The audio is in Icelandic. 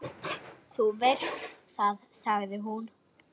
Þú veist það, sagði hún.